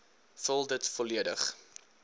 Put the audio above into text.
vul dit volledig